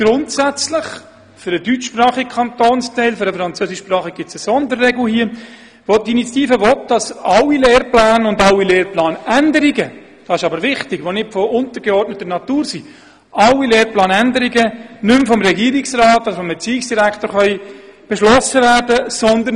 : Grundsätzlich sollen im deutschsprachigen Kantonsteil – für den französischsprachigen gibt es eine Sonderregelung – alle Lehrpläne und – das ist wichtig – auch alle Lehrplanänderungen, welche nicht von untergeordneter Natur sind, nicht mehr von Regierungsrat und Erziehungsdirektor beschlossen werden können.